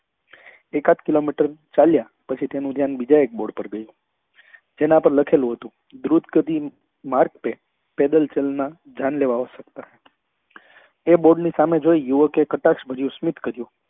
એકાદ કિલોમીટર ચાલ્યા પછી તેનું ધ્યાન બીજા એક bord પર ગયું જેના પર લખેલું હતું માર્ગ પે પેડલ ચલના જાનલેવા હો સકતા હૈ તે bord ની સામે જોઈ યુવકે કટાક્ષ ભર્યું સ્મિત કહ્યું